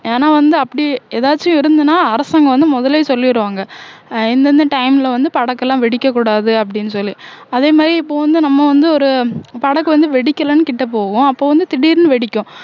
ஏன்னா வந்து அப்படி ஏதாச்சும் இருந்ததுன்னா அரசாங்கம் வந்து முதல்லயே சொல்லிடுவாங்க அஹ் இந்தந்த time ல வந்து படக்கெல்லாம் வெடிக்கக் கூடாது அப்படின்னு சொல்லி அதே மாதிரி இப்ப வந்து நம்ம வந்து ஒரு படகு வந்து வெடிக்கலைன்னு கிட்ட போவோம் அப்ப வந்து திடீர்ன்னு வெடிக்கும்